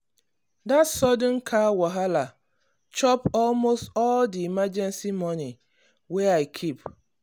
that sudden car wahala chop almost all the emergency money wey i keep.